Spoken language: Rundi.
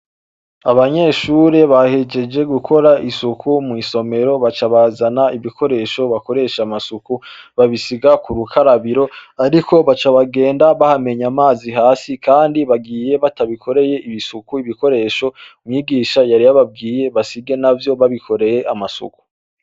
Abanyeshure bahejeje gukora isuku mwisomera baca bazana ibikoresho bakoresha amasuku babisiga kurukarabiro ariko baca bagenda bahamenye amazi hasi kandi bagiye batabikoreye isuku ibikoresho mwigisha yari yababwiye basige navyo babikoreye amasuku.